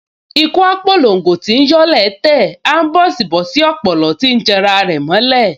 Ikú á p’olongo tíí yọ́ ilẹ̀ẹ́ tẹ̀, aḿbọ̀sí ọ̀pòlọ́ tíí janra rẹ̀ mọ́ ilẹ̀